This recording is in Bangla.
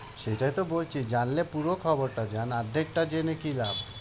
সেটাই তো বলছি জানলে পুরো খবরটা জান আর্ধেকটা জেনে কি লাভ?